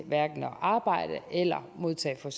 arbejde eller modtage for